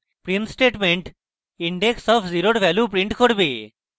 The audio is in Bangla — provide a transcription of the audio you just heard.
print statement index of zero 0 এর value print করবে